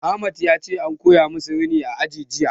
Ahmad yace an koya musu rini a aji jiya